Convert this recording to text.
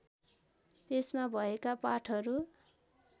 त्यसमा भएका पाठहरू